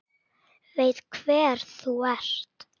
Veit hver þú ert.